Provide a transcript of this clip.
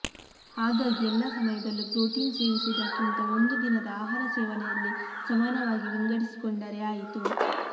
ಹಾಗಾಗಿ ಎಲ್ಲಾ ಸಮಯದಲ್ಲೂ ಪ್ರೋಟೀನ್ ಸೇವಿಸುವುದಕ್ಕಿಂತ ಒಂದು ದಿನದ ಆಹಾರ ಸೇವನೆಯಲ್ಲಿ ಸಮಾನವಾಗಿ ವಿಂಗಡಿಸಿಕೊಂಡರೆ ಆಯಿತು